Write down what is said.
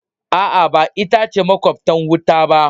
Aa, ba ita ce makwabtan uwata ba.